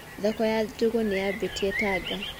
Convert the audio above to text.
Thoko ya njũgũ nĩ yambĩtie Tanga.